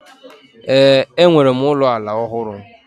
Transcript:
Ee, enwere m ụlọ ala ọhụrụ